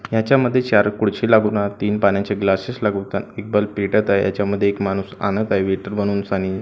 याच्यामध्ये चार खुर्ची लागून तीन पाण्याचे ग्लासेस लागून त्यात एक बल्ब पेटत आहे याच्यामध्ये एक माणूस आणत आहे वेटर माणूस आणि--